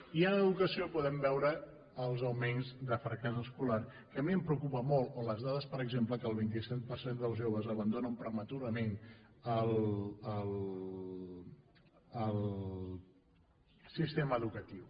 i en educació podem veure els augments de fracàs escolar que a mi em preocupa molt o les dades per exemple que el vint cinc per cent dels joves abandonen prematurament el sistema educatiu